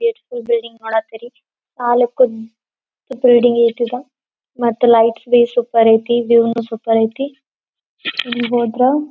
Gate full building ನೋಡತರಿ ನಾಲಕ್ಕು building ಐತಿ. ಇದು ಮತ್ತೆ ಲೈಟ್ಸ್ ಬೇಸ್ ಸೂಪರ್ ಐತಿ ಐತಿ ಹಿಂಗ್ ಹೋದ್ರ--